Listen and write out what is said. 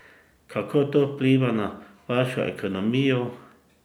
Kako to vpliva na vašo ekonomijo?